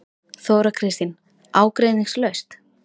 Þóra Kristín: Ágreiningslaust?